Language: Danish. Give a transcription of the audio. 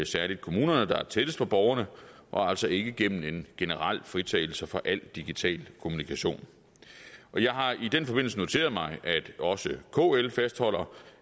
særlig kommunerne der er tættest på borgerne og altså ikke gennem en generel fritagelse fra al digital kommunikation jeg har i den forbindelse noteret mig at også kl fastholder